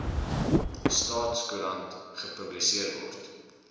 staatskoerant gepubliseer word